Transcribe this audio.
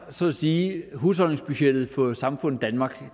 så at sige er husholdningsbudgettet for samfundet danmark